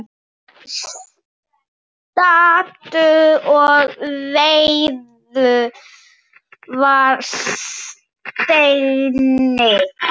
Stattu og vertu að steini